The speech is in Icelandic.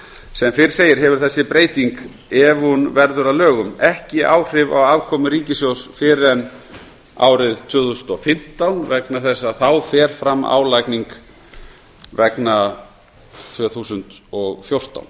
sem fyrr segir hefur þessi breyting ef hún verður að lögum ekki áhrif á afkomu ríkissjóðs fyrr en árið tvö þúsund og fimmtán vegna þess að þá fer fram álagning vegna tvö þúsund og fjórtán